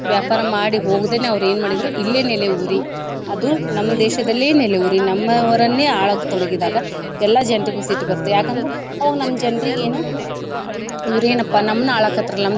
ವ್ಯಾಪಾರ ಮಾಡಿ ಹೋಗದೇನೆ ಅವ್ರ ಏನ ಮಾಡಿದ್ರು ಇಲ್ಲೆ ನೆಲೆಯೂರಿ ಅದು ನಮ್ಮ್ ದೇಶದಲ್ಲೇ ನೆಲೆಯೂರಿ ನಮ್ಮವರನ್ನೇ ಆಳೋಕ ತೊಡಗಿದಾಗ ಎಲ್ಲಾ ಜನರಿಗು ಸಿಟ್ಟ ಬರುತ್ತ. ಯಾಕ ಅಂದ್ರ ಅವಾಗ ನಮ್ಮ ಜನ್ರಿಗೆ ಏನು ಇವ್ರ ಏನಪ್ಪ ನಮ್ನ ಆಳಾಕತ್ರಲ್ಲ.